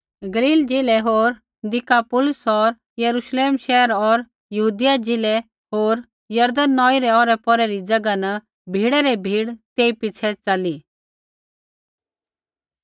गलील ज़िलै होर दिकापुलिस दस शैहरा होर यरूश्लेम शैहरा होर यहूदिया ज़िलै होर यरदन नौई रै ओरै पौरै री ज़ैगा न भीड़ै री भीड़ तेई पिछ़ै च़ली